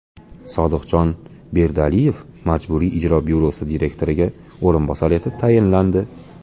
Sodiqjon Berdialiyev Majburiy ijro byurosi direktoriga o‘rinbosar etib tayinlandi.